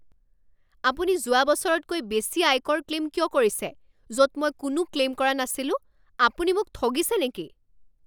আপুনি যোৱা বছৰতকৈ বেছি আয়কৰ ক্লেইম কিয় কৰিছে য'ত মই কোনো ক্লেইম কৰা নাছিলোঁ? আপুনি মোক ঠগিছে নেকি?